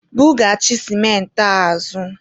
bughachi sịmentị a azụ!